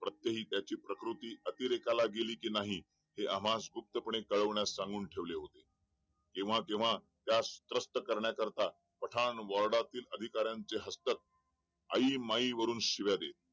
प्रत्येकी त्याची प्रकृती अतिरेकाला गेली कि नाही हे आम्हास गुप्तपणे सांगून ठेवण्यास सांगितले होते केव्हा केव्हा त्यास त्रस्त करण्याकरिता पठाण वार्डाचे अधिकारांचे हस्त आई माई वरून शिव्या देत